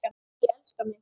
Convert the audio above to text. Ég elska mig!